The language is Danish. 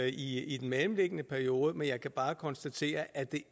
i den mellemliggende periode man jeg kan bare konstatere at det